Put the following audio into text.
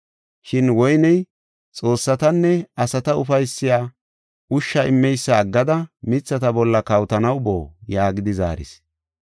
Shin woyney, ‘Xoossatanne asata ufaysiya ushsha immeysa aggada mithata bolla kawotanaw boo?’ yaagidi zaaris.